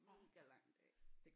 Mega lang dag